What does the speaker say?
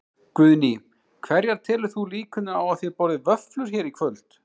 Guðný: Hverjar telur þú líkurnar á að þið borðið vöfflur hér í kvöld?